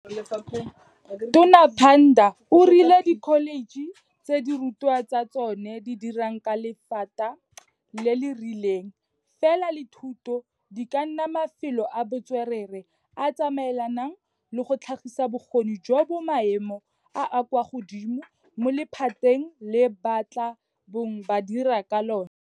Tona Pandor o rile dikholetšhe tse dirutwa tsa tsona di dirang ka lephata le le rileng fela la thuto, di ka nna mafelo a bo tswerere a a tsamaelanang le go tlhagisa bokgoni jo bo maemo a a kwa godimo mo lephateng le ba tla bong ba dira ka lona.